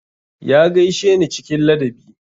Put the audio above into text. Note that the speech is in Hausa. Ya gaishe ni cikin ladabi.